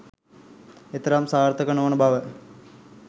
එතරම් සාර්ථක නොවන බව